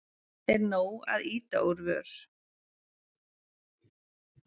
Er nóg að ýta úr vör?